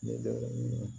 Ne dɔgɔmuso